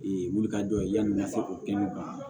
wulikajɔ ye yani n ka se k'o kɛ ne banna